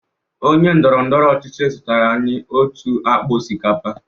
Onye ndọrọ ndọrọ ọchịchị zụtara anyị otu akpa osikapa.